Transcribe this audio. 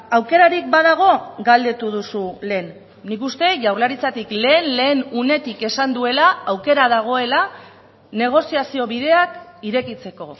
aukerarik badago galdetu duzu lehen nik uste jaurlaritzatik lehen lehen unetik esan duela aukera dagoela negoziazio bideak irekitzeko